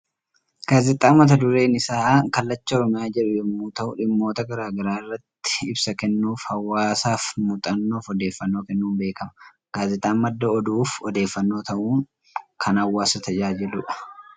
Gaazexaa mata dureen isaa 'Kallacha Oromiyaa' jedhu yommuu ta'u dhimmoota gara garaa irratti ibsa kennuu fi hawwaasaaf muuxannoo fi odeeffannoo kennuun beekama. Gaazexaan madda oduu fi odeeffannoo ta'uun kan hawwaasa tajaajiludha.